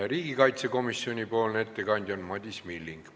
Riigikaitsekomisjoni ettekandja on Madis Milling.